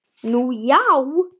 Nú já.